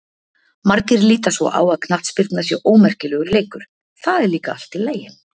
Margir líta svo á að knattspyrna sé ómerkilegur leikur, það er líka allt í lagi.